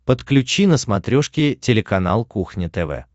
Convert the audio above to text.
подключи на смотрешке телеканал кухня тв